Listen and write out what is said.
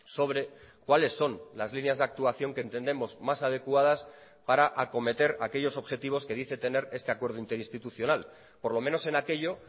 sobre cuáles son las líneas de actuación que entendemos más adecuadas para acometer aquellos objetivos que dice tener este acuerdo interinstitucional por lo menos en aquello